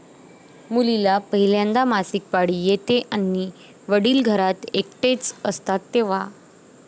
मुलीला पहिल्यांदा मासिक पाळी येते आणि वडील घरात एकटेच असतात तेव्हा...